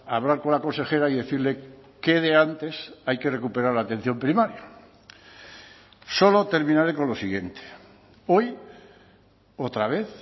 hablar con la consejera y decirle qué de antes hay que recuperar la atención primaria solo terminaré con lo siguiente hoy otra vez